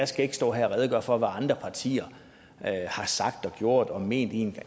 skal ikke stå her og redegøre for hvad andre partier har sagt og gjort og ment i en